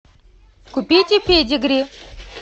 купите педигри